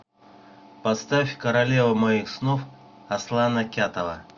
поставь королева моих снов аслана кятова